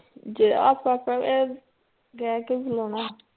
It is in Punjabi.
ਜੇ ਆਪਾਂ ਕਵੇਂ ਬੁਲਾਉਣਾ